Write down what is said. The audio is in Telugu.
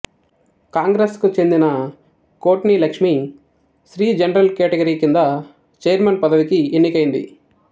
కాంగ్రెస్ కు చెందిన కోట్నిలక్ష్మి స్త్రీ జనరల్ కేటగిరీ క్రింద ఛైర్మన్ పదవికి ఎన్నికైంది